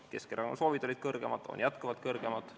Keskerakonna soovid olid suuremad, need on jätkuvalt suuremad.